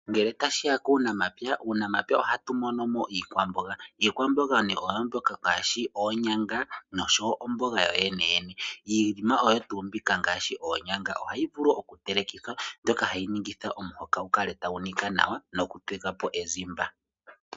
Ngele tashiya kuunamapya, muunampya ohatu mono mo iikwamboga. Iikwamboga oyo mbyoka ngaashi oonyanga, noshowo omboga yooyeneyene. Iinima oyo tuu mbika ngaashi oonyanga, ohayi vulu okutelekithwa, mbyoka hayi ningitha omuhoka gukale tagu niga nawa, noku pepapo ezimba.